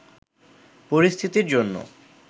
পরিস্থিতির জন্য